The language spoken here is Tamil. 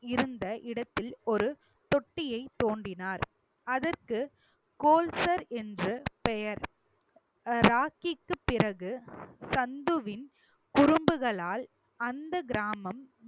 இருந்த இடத்தில் ஒரு தொட்டியை தோண்டினார் அதற்கு கோல்சர் என்று பெயர் ராக்கிக்கு பிறகு சந்துவின் குறும்புகளால் அந்த கிராமம்